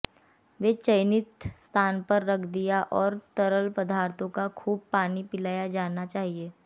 वे चयनित स्थान पर रख दिया और तरल पदार्थों का खूब पानी पिलाया जाना चाहिए